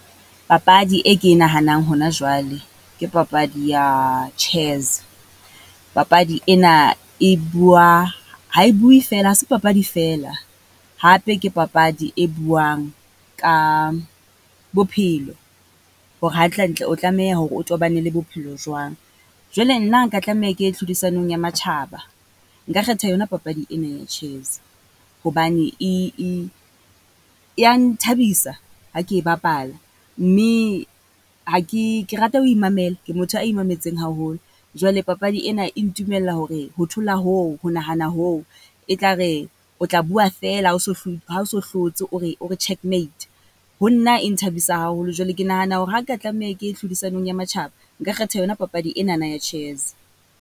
Papadi e ke e nahanang hona jwale, ke papadi ya chess. Papadi ena e bua, ha e bue feela, ha se papadi feela hape ke papadi e buang ka bophelo hore hantle-ntle o tlameha hore o tobane le bophelo jwang. Jwale nna nka tlameha ke tlhodisanong ya matjhaba, nka kgetha yona papadi ena ya chess. Hobane e, e, e ya nthabisa ha ke e bapala, mme ha ke, ke rata ho imamela, ke motho a imametseng haholo. Jwale papadi ena e ntumella hore ho thola hoo, ho nahana hoo e tla re, o tla bua feela ha o so , ha o so hlotse o re o re check mate, ho nna e nthabisa haholo. Jwale ke nahana hore ha nka tlameha ke ye tlhodisanong ya matjhaba, nka kgetha yona papadi ena ya chess.